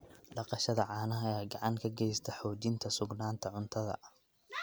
Dhaqashada caanaha ayaa gacan ka geysata xoojinta sugnaanta cuntada.